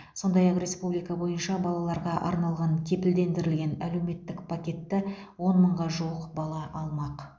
сондай ақ республика бойынша балаларға арналған кепілдендірілген әлеуметтік пакетті он мыңға жуық бала алмақ